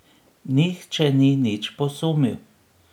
Nihče ni nič posumil.